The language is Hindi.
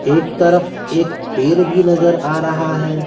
एक तरफ एक पेर भी नजर आ रहा है।